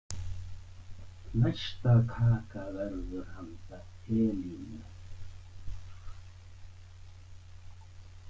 Næsta kaka verður handa Elínu.